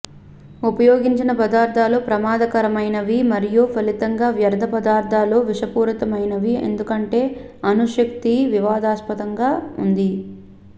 ఉపయోగించిన పదార్థాలు ప్రమాదకరమైనవి మరియు ఫలితంగా వ్యర్ధ పదార్ధాలు విషపూరితమైనవి ఎందుకంటే అణు శక్తి వివాదాస్పదంగా ఉంది